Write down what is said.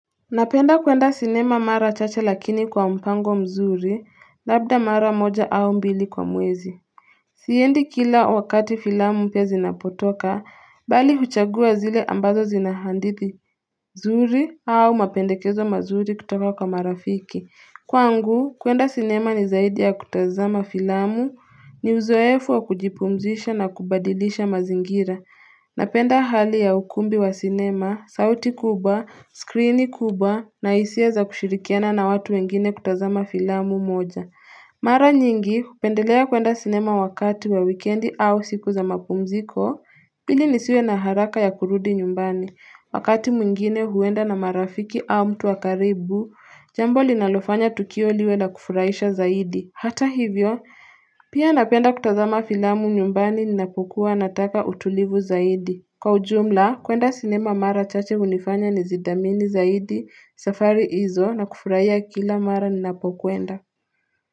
Napenda kwenda sinema mara chacha lakini kwa mpango mzuri labda mara moja au mbili kwa mwezi Siendi kila wakati filamu mpya zinapotoka bali huchagua zile ambazo zinahadhidi mzuri au mapendekezo mazuri kutoka kwa marafiki Kwangu kwenda sinema ni zaidi ya kutazama filamu ni uzoefu wa kujipumzisha na kubadilisha mazingira Napenda hali ya ukumbi wa sinema, sauti kubwa, skrini kubwa na hisia za kushirikiana na watu wengine kutazama filamu moja. Mara nyingi, hupendelea kwenda sinema wakati wa wikendi au siku za mapumziko, ili nisiwe na haraka ya kurudi nyumbani. Wakati mwingine huenda na marafiki au mtu wa karibu, jambo linalofanya tukio liwe na kufuraisha zaidi. Hata hivyo, pia napenda kutazama filamu nyumbani na kukua nataka utulivu zaidi. Kwa ujumla, kuenda sinema mara chache hunifanya ni zidhamini zaidi, safari izo na kufuraiya kila mara napokuenda.